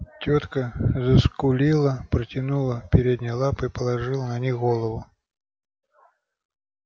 тётка заскулила протянула передние лапы и положила на них голову